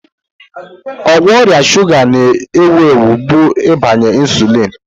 Ọgwụ ọrịa shuga na-ewu ewu bụ ịgbanye insulin.